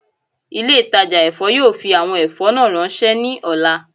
Ile-itaja èfó yoo fi awọn ẹfọ naa ranṣẹ ni ọla